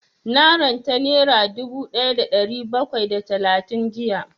Na ranta nera dubu ɗaya da ɗari bakwai da talatin jiya